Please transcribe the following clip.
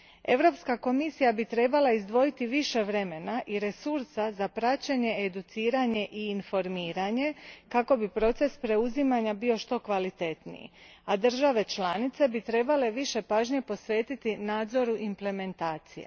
Europska komisija bi trebala izdvojiti više vremena i resursa za praćenje, educiranje i informiranje kako bi proces preuzimanja bio što kvalitetniji, a države članice bi trebale više pažnje posvetiti nadzoru implementacija.